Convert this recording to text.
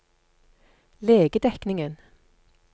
legedekningen